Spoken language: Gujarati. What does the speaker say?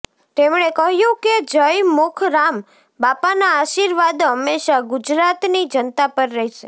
તેમણે કહ્યું કે જયમુખરામ બાપાના આશીર્વાદ હંમેશાં ગુજરાતની જનતા પર રહેશે